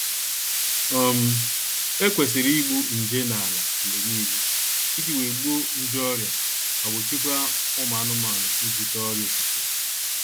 um E kwesịrị igbu nje n'ala mgbe niile iji wee gbuo nje ọrịa ma gbochikwaa ụmụ anụmanụ ibute ọrịa ofufe